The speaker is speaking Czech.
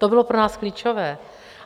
To bylo pro nás klíčové.